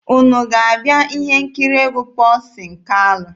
Unu ga-abịa ihe nkiri egwu Pọlsin Kalụ?